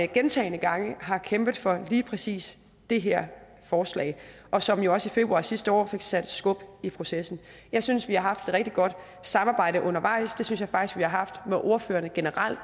gentagne gange har kæmpet for lige præcis det her forslag og som jo også i februar sidste år fik sat skub i processen jeg synes vi har haft et rigtig godt samarbejde undervejs det synes jeg faktisk vi har haft med ordførerne generelt